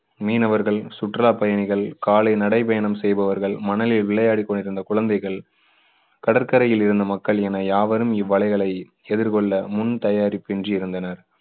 மீனவர்கள், சுற்றுலா பயணிகள், காலை நடை பயணம் செய்பவர்கள், மணலில் விளையாடிக் கொண்டிருந்த குழந்தைகள், கடற்கரையில் இருந்த மக்கள் என யாவரும் இவ்வலைகளை எதிர்கொள்ள முன் தயாரிப்பு இன்றி இருந்தனர்.